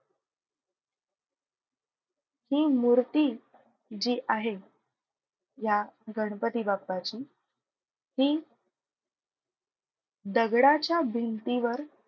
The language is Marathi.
हि मूर्ती जी आहे या गणपती बाप्पाची हि दगडाच्या भिंतीवर,